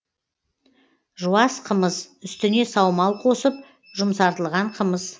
жуас қымыз үстіне саумал қосып жұмсартылған қымыз